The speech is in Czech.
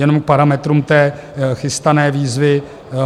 Jenom k parametrům té chystané výzvy.